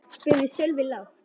spurði Sölvi lágt.